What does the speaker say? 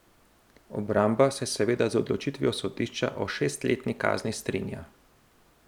Obramba se seveda z odločitvijo sodišča o šestletni kazni strinja.